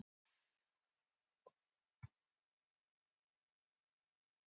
Barnið er sakbitið og áfellist sjálft sig vegna þess að óskin rættist.